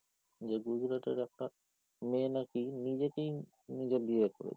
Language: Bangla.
যে গুজরাটের একটা মেয়ে নাকি নিজেকেই নিজে বিয়ে করেছে।